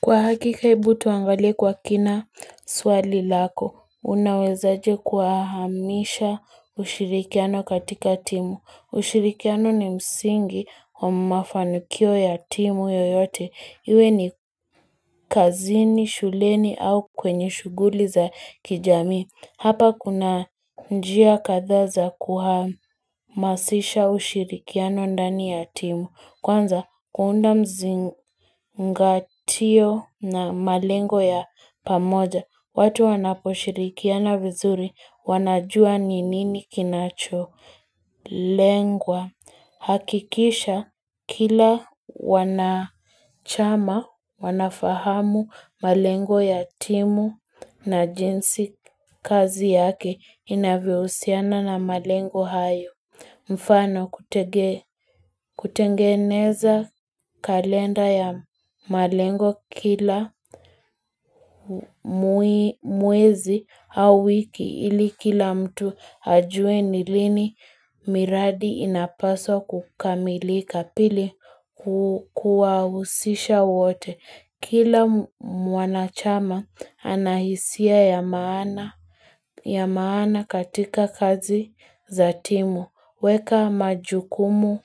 Kwa hakika hebu tuangalie kwa kina swali lako, unawezaje kuwahamisha ushirikiano katika timu. Ushirikiano ni msingi wa mafanikio ya timu yoyote. Iwe ni kazini, shuleni au kwenye shughuli za kijamii. Hapa kuna njia kadhaa za kuhamasisha ushirikiano ndani ya timu. Kwanza, kuunda mzingatio na malengo ya pamoja, watu wanaposhirikiana vizuri wanajua ni nini kinacholengwa. Hakikisha, kila wanachama, wanafahamu malengo ya timu na jinsi kazi yake inavyohusiana na malengo hayo. Mfano kutengeneza kalenda ya malengo kila mwezi au wiki ili kila mtu ajue ni lini miradi inapaswa kukamilika pili kuwahusisha wote. Kila mwanachama anahisia ya maana katika kazi za timu. Weka majukumu